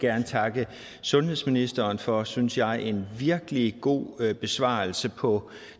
gerne takke sundhedsministeren for en synes jeg virkelig god besvarelse på